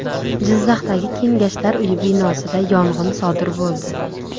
Jizzaxdagi Kengashlar uyi binosida yong‘in sodir bo‘ldi.